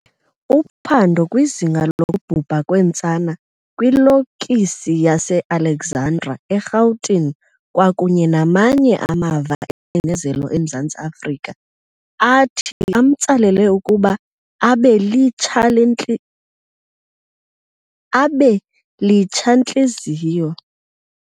Uphando kwizinga lokubhubha kweentsana kwilokisi yase Alexandra eRhawutini kwakunye namanye amava engcinezelo eMzantsi Afrika athi amtsalela ukuba abe litsha-ntliziyo.